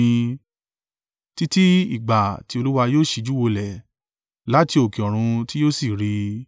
títí ìgbà tí Olúwa yóò síjú wolẹ̀ láti òkè ọ̀run tí yóò sì rí i.